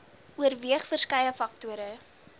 oorweeg verskeie faktore